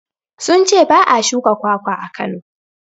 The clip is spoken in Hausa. Sun ce ba a shuka kwakwa a Kano.